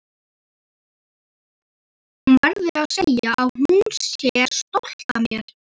Hún verði að segja að hún sé stolt af mér.